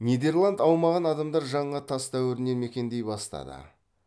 нидерланд аумағын адамдар жаңа тас дәуірінен мекендей бастады